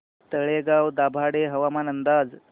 तळेगाव दाभाडे हवामान अंदाज